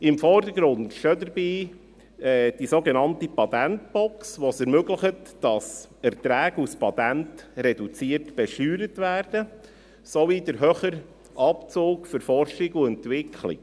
Im Vordergrund stehen dabei die sogenannte Patentbox, die es ermöglicht, dass Erträge aus Patenten reduziert besteuert werden, sowie der höhere Abzug für Forschung und Entwicklung.